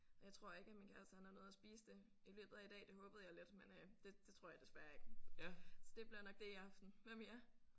Jeg tror ikke at min kæreste han har nået at spise det i løbet af i dag det håbede jeg lidt men øh det det tror jeg desværre ikke. Så det bliver nok det i aften. Hvad med jer?